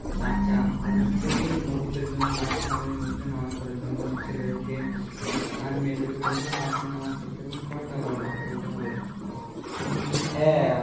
চাচা তাদের সবাইকেই মসজিদের জন্য ডাকতে হবে মসজিদের নামাজ পড়ার জন্য ছেলেদেরকে আর মেয়েদেরকে বলতে হবে বাসায় নামাজ পড়তে এবং পর্দা করার কথা বলতে হবে আমাদের ইসলামে হ্যাঁ